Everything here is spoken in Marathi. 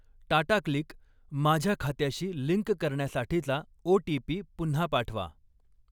टाटाक्लिक माझ्या खात्याशी लिंक करण्यासाठीचा ओ.टी.पी. पुन्हा पाठवा.